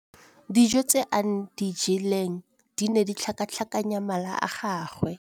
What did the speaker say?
Dijô tse a di jeleng di ne di tlhakatlhakanya mala a gagwe.